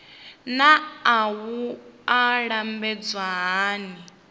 naa wua i lambedzwa hani